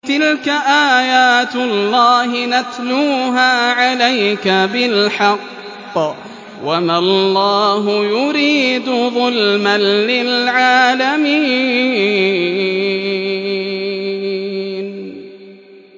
تِلْكَ آيَاتُ اللَّهِ نَتْلُوهَا عَلَيْكَ بِالْحَقِّ ۗ وَمَا اللَّهُ يُرِيدُ ظُلْمًا لِّلْعَالَمِينَ